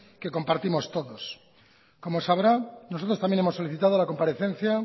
que compartimos todos como sabrán nosotros también hemos solicitado la comparecencia